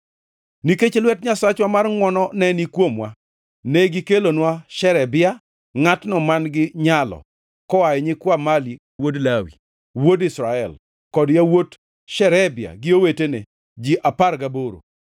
Nikech lwet Nyasachwa mar ngʼwono ne ni kuomwa, ne gikelonwa Sherebia, ngʼatno man-gi nyalo, koa e nyikwa Mali wuod Lawi, wuod Israel, kod yawuot Sherebia gi owetene, ji apar gaboro;